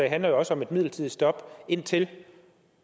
handler jo også om et midlertidigt stop indtil